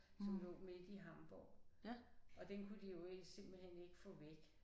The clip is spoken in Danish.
Som lå midt i Hamborg og den kunne de jo ikke simpelthen ikke få væk